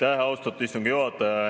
Aitäh, austatud istungi juhataja!